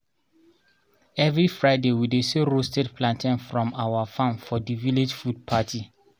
every fridaywe dey sell roasted plantain from our farm for the village food party